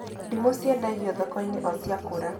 Ndimũ ciendagio thoko-inĩ o cia kũra